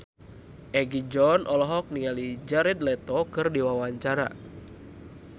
Egi John olohok ningali Jared Leto keur diwawancara